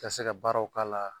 Ka se ka baaraw k'a la.